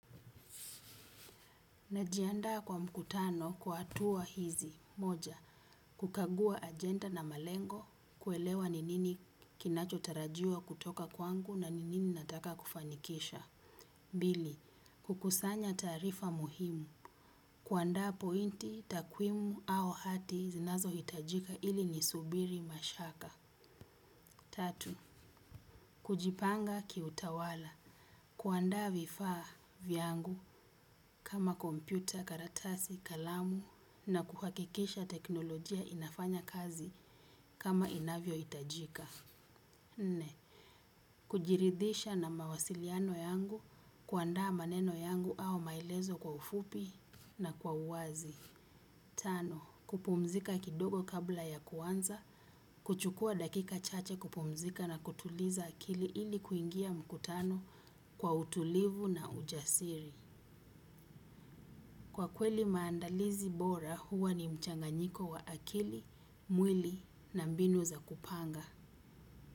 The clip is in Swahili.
Najiandaa kwa mkutano kwa hatua hizi. Moja, kukagua agenda na malengo, kuelewa ninini kinacho tarajiwa kutoka kwangu na ninini nataka kufanikisha. Bili, kukusanya tarifa muhimu. Kuandaa pointi, takwimu au hati zinazohitajika ili nisubiri mashaka. Tatu, kujipanga kiutawala. Kuandaa vifaa vyangu kama kompyuta, karatasi, kalamu na kuhakikisha teknolojia inafanya kazi kama inavyohitajika. Nne kujiridhisha na mawasiliano yangu, kuandaa maneno yangu au maelezo kwa ufupi na kwa uwazi. Tano, kupumzika kidogo kabla ya kuanza, kuchukua dakika chache kupumzika na kutuliza akili ili kuingia mkutano kwa utulivu na ujasiri. Kwa kweli maandalizi bora huwa ni mchanganyiko wa akili, mwili na mbinu za kupanga.